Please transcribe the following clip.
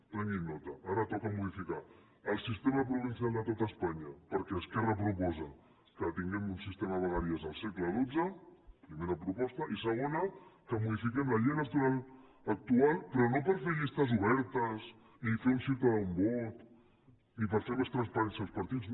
prenguin ne nota ara toca modificar el sistema provincial de tot espanya perquè esquerra proposa que tinguem un sistema de vegueries del segle xii primera proposta i segona que modifiquem la llei electoral actual però no per fer llistes obertes ni fer un ciutadà un vot ni per fer més transparents els partits